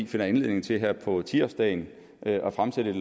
finder anledning til her på ti årsdagen at fremsætte et